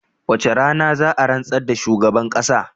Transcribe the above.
Wacce rana za a rantsar da shugaban kasan?